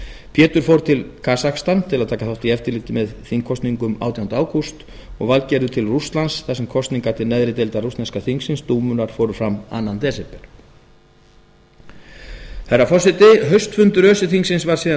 pétur fór til kasakstan til að taka þátt í eftirliti með þingkosningunum átjánda ágúst og valgerður til rússlands þar sem kosningar til neðri deildar rússneska þingsins dúmunnar fóru fram annars desember herra forseti haustfundur öse þingsins var síðan